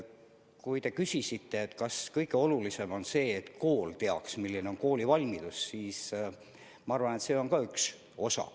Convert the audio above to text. Kui te küsisite, kas kõige olulisem on see, et kool teaks, milline on koolivalmidus, siis ma arvan, et see on ka üks eesmärk.